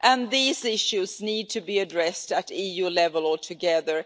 These issues need to be addressed at EU level, all together.